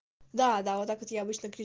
да да вот так вот я обычно кри